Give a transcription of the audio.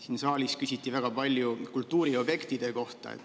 Siin saalis küsiti väga palju kultuuriobjektide kohta.